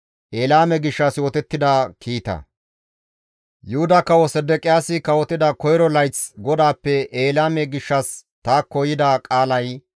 Yuhuda kawo Sedeqiyaasi kawotida koyro layth GODAAPPE Elaame gishshas taakko yida qaalay,